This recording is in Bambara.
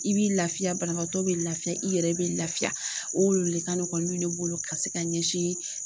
I bɛ lafiya banabaatɔ bɛ lafiya i yɛrɛ bɛ lafiya , o le ka nɔgɔ min ye bolo ka se ka ɲɛsin